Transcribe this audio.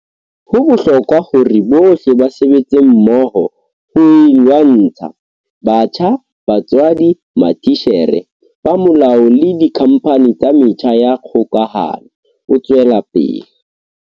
Ho bohlokwa hore bohle ba sebetse mmoho ho e lwantsha - batjha, batswadi, matitjhere, ba molao le dikhampani tsa metjha ya kgokahano, o tswela pele.